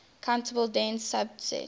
countable dense subset